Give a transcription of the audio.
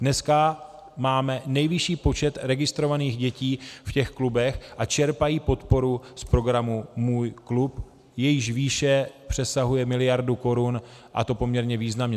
Dneska máme nejvyšší počet registrovaných dětí v těch klubech a čerpají podporu z programu Můj klub, jejíž výše přesahuje miliardu korun, a to poměrně významně.